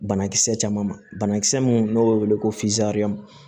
Banakisɛ caman ma bana kisɛ mun n'o be wele ko